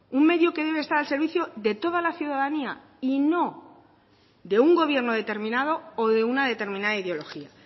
un medio que debe estar al servicio de toda la ciudadanía y no de un gobierno determinado o de una determinada ideología